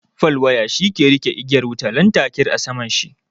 Fal waya shi ke riƙe igiyar wutar lantarki a saman shi.